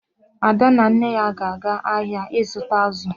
Ada na nne ya ga-aga ahịa ịzụta azụ.